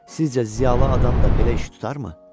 Sizcə, ziyalı adam da belə iş tutarmı?